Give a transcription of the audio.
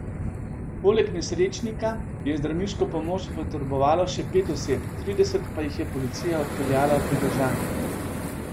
Poleg nesrečnika je zdravniško pomoč potrebovalo še pet oseb, trideset pa jih je policija odpeljala v pridržanje.